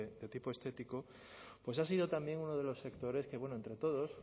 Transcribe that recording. de tipo estético pues ha sido también uno de los sectores que entre todos